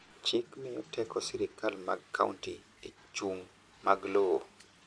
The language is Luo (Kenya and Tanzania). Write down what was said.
chik miyo teko sirikal mag county e chung mag lowo